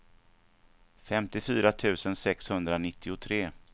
femtiofyra tusen sexhundranittiotre